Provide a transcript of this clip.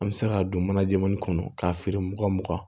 An bɛ se ka don mana jɛmɛni kɔnɔ k'a feere mugan mugan